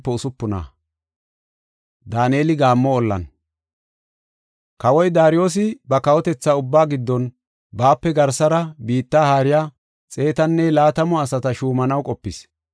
Kawoy Daariyosi ba kawotetha ubbaa giddon baape garsara biitta haariya xeetanne laatamu asata shuumanaw qopis.